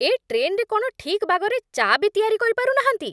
ଏ ଟ୍ରେନ୍‌ରେ କ'ଣ ଠିକ୍ ବାଗରେ ଚା' ବି ତିଆରି କରିପାରୁନାହାନ୍ତି!